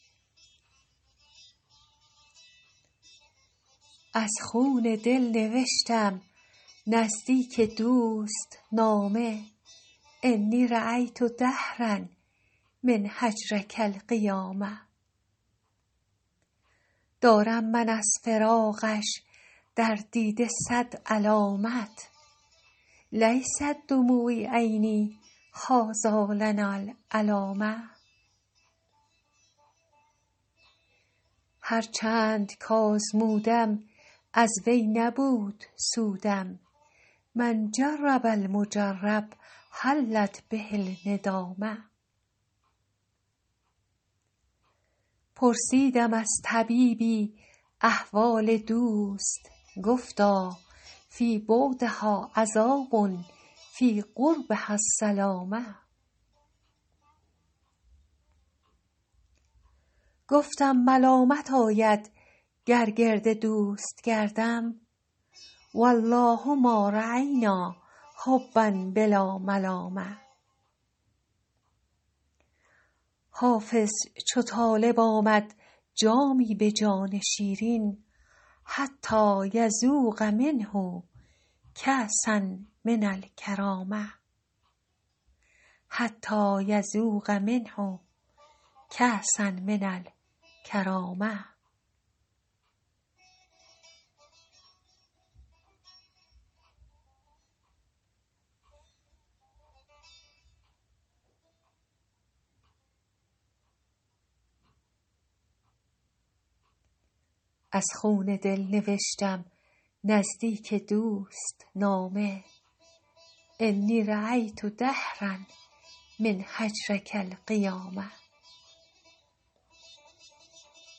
از خون دل نوشتم نزدیک دوست نامه انی رأیت دهرا من هجرک القیامه دارم من از فراقش در دیده صد علامت لیست دموع عینی هٰذا لنا العلامه هر چند کآزمودم از وی نبود سودم من جرب المجرب حلت به الندامه پرسیدم از طبیبی احوال دوست گفتا فی بعدها عذاب فی قربها السلامه گفتم ملامت آید گر گرد دوست گردم و الله ما رأینا حبا بلا ملامه حافظ چو طالب آمد جامی به جان شیرین حتیٰ یذوق منه کأسا من الکرامه